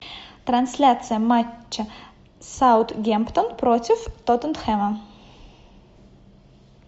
трансляция матча саутгемптон против тоттенхэма